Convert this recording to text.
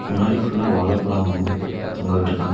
முன்னாடி ஃபுல்லா வாழப்பழோ தொங்க விட்டுக்காங்க.